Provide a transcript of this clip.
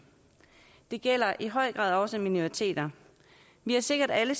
det gælder i høj grad også minoriteter vi har sikkert alle